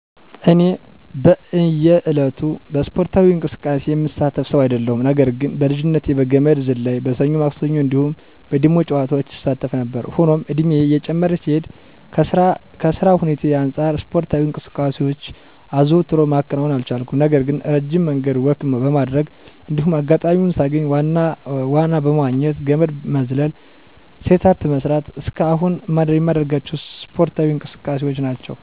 እኔ በእየ ዕለቱ በእስፖርታዊ እንቅስቃሴ የምሳተፍ ሰው አይደለሁም። ነገር ግን በልጅነቴ በገመድ ዝላይ፣ በሰኞ ማክሰኞ እንዲሁም በ ዲሞ ጨዋታዎች እሳተፍ ነበር። ሆኖም እድሜየ እየጨመረ ሲሄድ ከ ስራ ሁኔታየ አንጻር እስፖርታዊ እንቅስቃሴ አዘውትሮ ማከናወን አልቻልኩም። ነገር ግን እረጅም መንገድ ወክ በማድረግ እንዲሁም አጋጣሚዉን ሳገኝ ዋና መዋኘት፣ ገመድ መዝለል፣ ሴት አፕ መስራት እስከ አሁን የማደርጋቸው እስፖርዊ እንቅስቃሴዎች ናቸው።